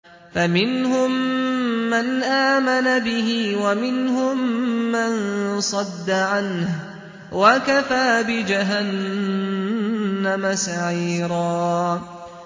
فَمِنْهُم مَّنْ آمَنَ بِهِ وَمِنْهُم مَّن صَدَّ عَنْهُ ۚ وَكَفَىٰ بِجَهَنَّمَ سَعِيرًا